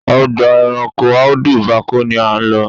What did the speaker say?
Ọgbà ẹranko Audu Bako ni à ń lọ.